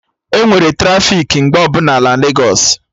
Enwere trafiki mgbe ọbụla na Legos